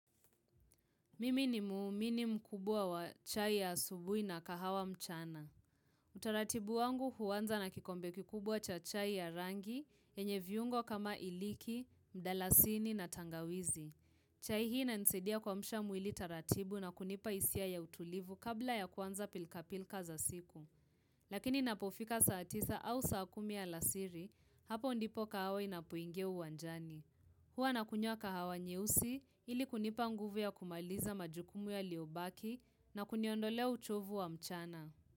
Mimi ni muumini mkubwa wa chai ya asubuhi na kahawa mchana. Utaratibu wangu huanza na kikombe kikubwa cha chai ya rangi yenye viungo kama iliki, mdalasini na tangawizi. Chai hii inanisaidia kuamsha mwili taratibu na kunipa hisia ya utulivu kabla ya kuanza pilka pilka za siku. Lakini inapofika saa tisa au saa kumi alasiri, hapo ndipo kahawa inapoingia uwanjani. Hua nakunywa kahawa nyeusi ili kunipa nguvu ya kumaliza majukumu yaliobaki na kuniondolea uchovu wa mchana.